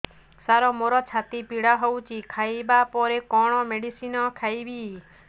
ସାର ମୋର ଛାତି ପୀଡା ହଉଚି ଖାଇବା ପରେ କଣ ମେଡିସିନ ଖାଇବି